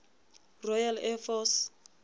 royal air force